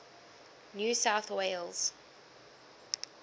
new south wales